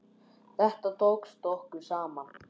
Þetta tókst okkur saman.